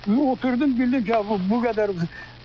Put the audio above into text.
Oturdum, bildim ki, bu qədər.